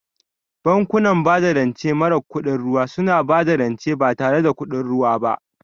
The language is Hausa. Bankunan bada rance mara kudin ruwa suna ba da rance ba tare da kuɗin ruwa ba.